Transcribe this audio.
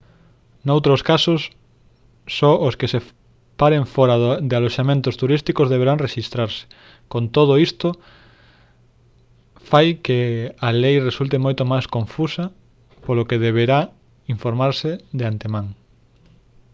noutros casos só os que se paren fóra de aloxamentos turísticos deberán rexistrarse con todo isto fai que a lei resulte moito máis confusa polo que deberá informarse de antemán